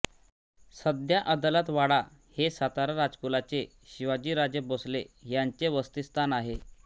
सध्या अदालत वाडा हे सातारा राजकुलाचे शिवाजीराजे भोसले यांचे वसतिस्थान आहे